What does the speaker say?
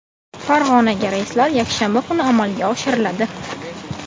Farg‘onaga reyslar yakshanba kunlari amalga oshiriladi.